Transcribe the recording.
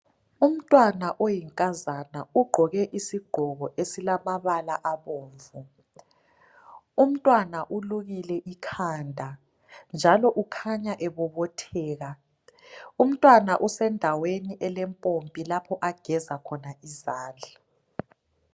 Umntwana oyinkazana ugqoke isigqoko esilamabala abomvu umntwana ulukile ikhanda njalo ukhanya ebobotheka umntwana usendaweni elepompi lapho ageza khona izandla.